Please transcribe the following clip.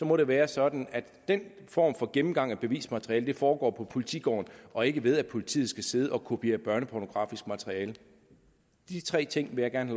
må det være sådan at den form for gennemgang af bevismateriale foregår på politigården og ikke ved at politiet skal sidde og kopiere børnepornografisk materiale disse tre ting vil jeg gerne